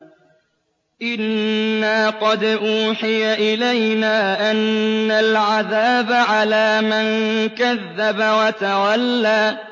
إِنَّا قَدْ أُوحِيَ إِلَيْنَا أَنَّ الْعَذَابَ عَلَىٰ مَن كَذَّبَ وَتَوَلَّىٰ